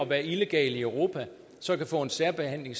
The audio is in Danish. være illegalt i europa så kan få en særbehandling